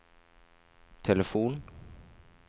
telefon